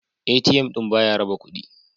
ATM ɗin ba ya raba kudi.